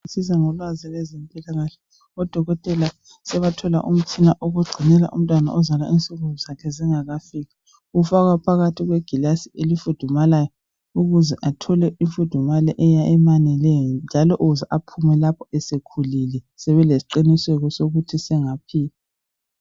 Ngolwazi lwezempilakahle odokotela sebathola umtshina wokugcinela umntwana ozalwa induku zakhe zingakafiki ufakwa phakathi kwegilasi elifudumalayo uze athole imfudumalo emlinganayo njalo uze aphume lapha sekhulile sebelesi qiniseko sokuthi engaphila.